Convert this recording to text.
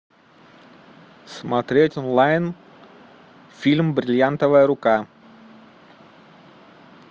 смотреть онлайн фильм бриллиантовая рука